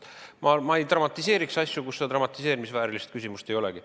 Ma ei dramatiseeriks asju, kui dramatiseerimisväärilist küsimust ei olegi.